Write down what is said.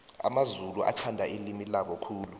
amamzulu athanda ilimi labo khulu